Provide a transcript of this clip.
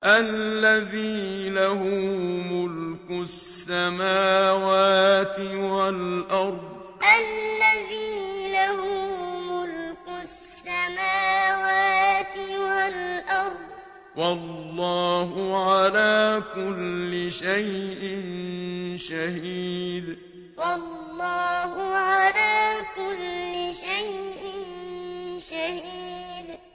الَّذِي لَهُ مُلْكُ السَّمَاوَاتِ وَالْأَرْضِ ۚ وَاللَّهُ عَلَىٰ كُلِّ شَيْءٍ شَهِيدٌ الَّذِي لَهُ مُلْكُ السَّمَاوَاتِ وَالْأَرْضِ ۚ وَاللَّهُ عَلَىٰ كُلِّ شَيْءٍ شَهِيدٌ